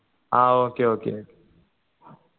ആ okay okay